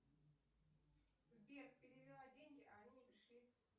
сбер перевела деньги а они не пришли